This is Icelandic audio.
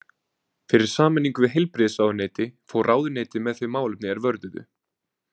Fyrir sameiningu við heilbrigðisráðuneyti fór ráðuneytið með þau málefni er vörðuðu.